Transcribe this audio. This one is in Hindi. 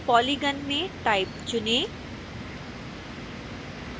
polygon में type चुनें